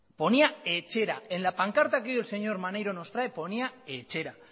ponía etxera en la pancarta que hoy el señor maneiro nos trae ponía etxera